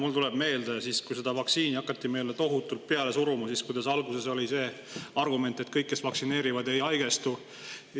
No mul tuleb meelde, et kui seda vaktsiini hakati meile tohutult peale suruma, siis alguses oli argument, et need, kes vaktsineerivad, ei haigestu.